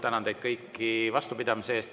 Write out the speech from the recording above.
Tänan teid kõiki vastupidamise eest.